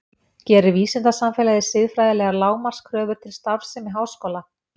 Gerir vísindasamfélagið siðfræðilegar lágmarkskröfur til starfsemi háskóla?